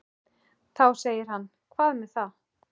Þá segir hann Hvað með það.